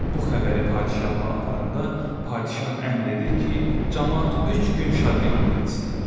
Bu xəbəri padişaha aparanda padişah əmr edir ki, camaat üç gün şadyanlıq etsinlər.